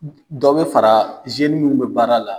Dɔ bɛ fara minnu bɛ baara la